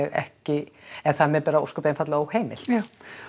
ekki eða það er mér ósköp einfaldlega óheimilt já